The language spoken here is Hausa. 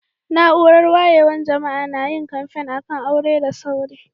Naúrar wayewan jama'a na yin kamfe a'kan aure da sauri.